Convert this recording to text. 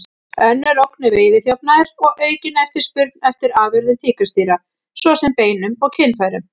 Önnur ógn er veiðiþjófnaður og aukin eftirspurn eftir afurðum tígrisdýra, svo sem beinum og kynfærum.